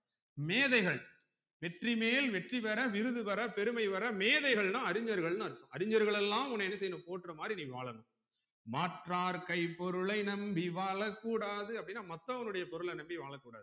மேதைகள் வெற்றிமேல் வெற்றிபெற விருது பெற பெருமை வர மேதைகள்னா அறிஞர்கள்ன்னு அர்த்தம் அறிஞர்கள் எல்லாம் உன்ன என்ன செய்யணும் போற்ற மாறி நீ வாழனும் மாற்றார் கை பொருளை நம்பி வாழக்கூடாது அப்டினா மத்தவங்களுடைய பொருளை நம்பி வாழக்கூடாது